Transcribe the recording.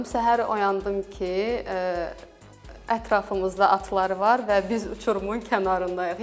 Səhər oyandım ki, ətrafımızda atları var və biz uçurumun kənarındayıq.